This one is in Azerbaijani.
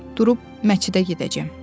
Durub məscidə gedəcəm.